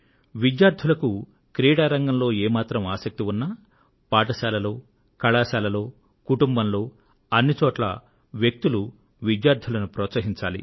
విద్యార్థులకు క్రీడారంగంలో ఏ మాత్రం ఆసక్తి ఉన్నా పాఠశాలలో కళాశాలలో కుటుంబంలో అన్ని చోట్లా వ్యక్తులు ప్రోత్సహించాలి